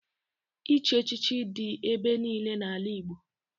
Ịchị echichi dị ebe niile n'ala Igbo